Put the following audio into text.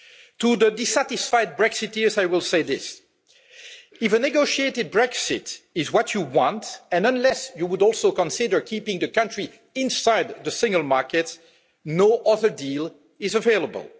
To the dissatisfied Brexiteers I will say this if a negotiated Brexit is what you want and unless you would also consider keeping the country inside the single market, no other deal is available.